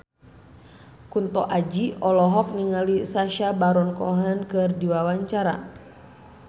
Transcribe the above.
Kunto Aji olohok ningali Sacha Baron Cohen keur diwawancara